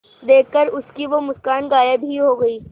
देखकर उसकी वो मुस्कान गायब ही हो गयी